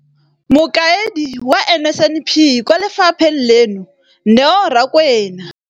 Mokaedi wa NSNP kwa lefapheng leno, Neo Rakwena,